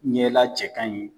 Ɲɛla cɛ kaɲi